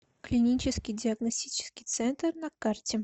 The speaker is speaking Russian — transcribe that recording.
клинический диагностический центр на карте